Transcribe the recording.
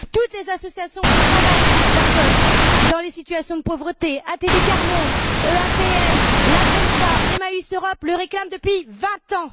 Toutes les associations qui travaillent avec les personnes dans les situations de pauvreté, ATD Quart Monde, EAPN, la FEANSA, Emmaüs Europe, le réclament depuis 20 ans!